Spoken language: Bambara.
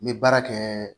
N bɛ baara kɛ